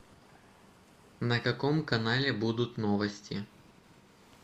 на каком канале будут новости